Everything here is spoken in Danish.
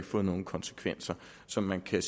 fået nogen konsekvenser så man kan